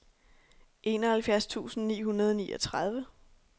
enoghalvfjerds tusind ni hundrede og niogtredive